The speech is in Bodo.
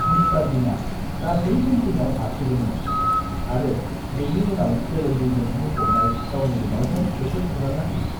मिस्टार बिनआ गासै पेन्टिंआव हारसिउदोंमोन आरो बेनि उनाव गोलोमदैजों बुंफबनाय गावनि रुमालजों बेखौ फुगारना होयो।